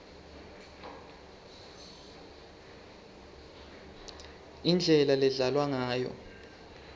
indlela ledlalwa ngayo